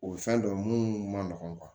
O ye fɛn dɔ ye mun man nɔgɔ